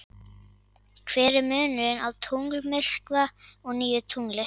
Hver er munurinn á tunglmyrkva og nýju tungli?